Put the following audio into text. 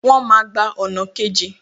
Wọ́n máa gba ọ̀nà kejì